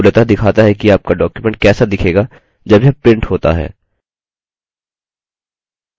यह मूलतः दिखाता है कि आपका document कैसा दिखेगा जब यह printed होता है